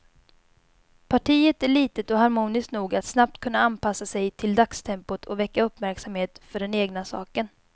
Partiet är litet och harmoniskt nog att snabbt kunna anpassa sig till dagstempot och väcka uppmärksamhet för den egna saken.